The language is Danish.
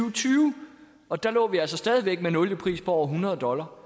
og tyve og der lå vi altså stadig væk med en oliepris på over hundrede dollar